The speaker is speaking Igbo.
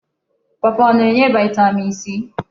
Pọọpọọ ọ na-enye vaịtamin c?